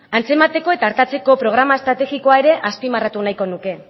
antzemateko eta artatzeko programa estrategikoa ere azpimarratu nahiko nuke